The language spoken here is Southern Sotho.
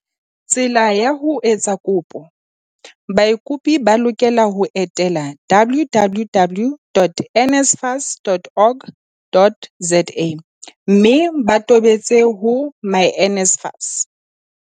Tsela ya ho etsa kopo Baikopedi ba lokela ho etela www.nsfas.org.za mme ba tobetse ho myNSFAS.